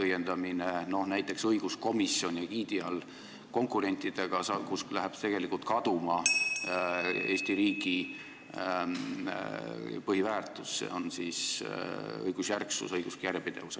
Näiteks käib õiguskomisjoni egiidi arveteõiendamine konkurentidega, nii et tegelikult läheb kaduma Eesti riigi põhiväärtus: see on õigusjärgsus, õiguslik järjepidevus.